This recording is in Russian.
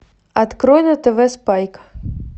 открой на тв спайк